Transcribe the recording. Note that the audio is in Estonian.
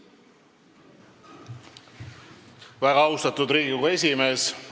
Väga austatud Riigikogu esimees!